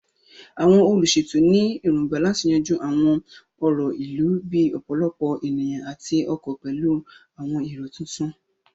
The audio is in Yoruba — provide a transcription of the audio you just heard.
Àwọn olùṣètò ní èrògbà láti yanjú àwọn ọ̀rọ̀ ìlú bíi ọ̀pọ̀lọpọ̀ ènìyàn àti ọkọ̀ pẹ̀lú àwọn èrò tuntun.